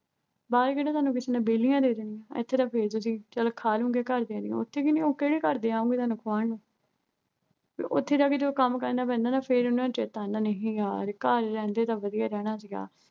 ਬਾਹਰ ਕਿਹੜਾ ਤੁਹਾਨੂੰ ਕਿਸੇ ਨੇ ਵੇਹਲੀਆਂ ਦੇ ਦੇਣੀਆਂ ਏਥੇ ਤਾਂ ਫੇਰ ਤੁਸੀਂ ਚੱਲ ਖਾ ਲਓਗੇ ਘਰਦਿਆਂ ਦੀਆ ਉੱਥੇ ਕਿਹਨੇ ਕਿਹੜੇ ਘਰ ਦੇ ਆਉਣਗੇ ਤੁਹਾਨੂੰ ਖਵਾਉਂਣ ਨੂੰ ਫਿਰ ਉੱਥੇ ਜਾ ਕੇ ਜਦੋਂ ਉਹਨਾਂ ਨੂੰ ਕੰਮ ਕਰਨਾ ਪੈਂਦਾ ਨਾ ਫੇਰ ਉਹਨਾਂ ਨੂੰ ਚੇਤਾ ਆਉਂਦਾ। ਨਹੀਂ, ਯਾਰ ਘਰ ਰਹਿੰਦੇ ਤਾਂ ਵਧੀਆ ਰਹਿਣਾ ਸੀਗਾ।